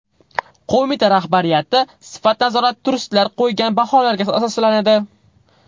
Qo‘mita rahbariyati sifat nazorati turistlar qo‘ygan baholarga asoslanadi.